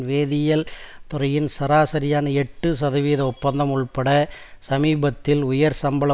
வேதியியல் துறையின் சராசரியான எட்டு சதவீத ஒப்பந்தம் உள்பட சமீபத்திய உயர் சம்பள